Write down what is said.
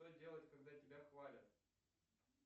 что делать когда тебя хвалят